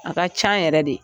A ka can yɛrɛ de.